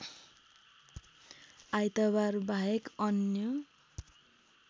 आइतबार बाहेक अन्य